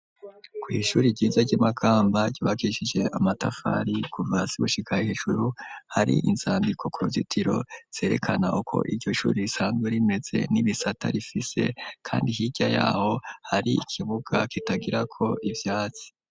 Ku ishuri ryiza ry'amagamba yibagishije amatafari kuva sibushikaye hejuru hari inzandiko ku ruzitiro zerekana uko iryo shuri risangwe rimeze n'ibisata rifise, kandi hirya yawo hari ikibuga kitagirako ivyatsi.